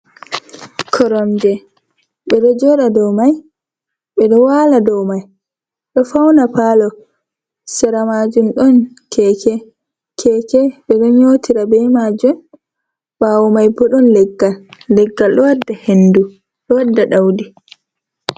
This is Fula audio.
Koromje ɓe ɗo jooɗa doo mai, ɓe ɗo waala doo mai ɗo fauna paalo, sera maajum ɗon keeke, ɓe ɗo nyotira be maajum, ɓaawo mai bo ɗon leggal, leggal ɗo wadda hendu, ɗo wadda da'udi.